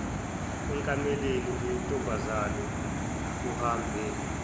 ekameleni lentombazane kuhambe